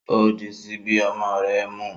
O di sibi ọmọ rẹ mu